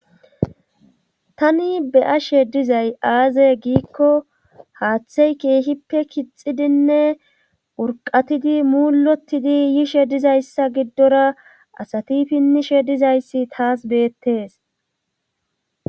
tani beyashe dizay aaze giikko haaththey keehippe kixidinne wurqatidi muulotidi yishe dizayssa giddora asati pinnishe dizayssi taas beettes